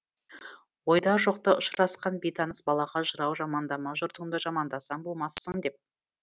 ойда жоқта ұшырасқан бейтаныс балаға жырау жамандама жұртыңды жамандасаң болмассың деп